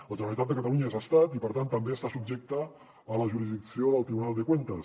la generalitat de catalunya és estat i per tant també està subjecta a la jurisdicció del tribunal de cuentas